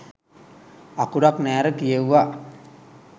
අකුරක් නෑර කියෙවුවා